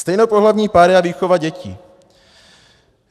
Stejnopohlavní páry a výchova dětí.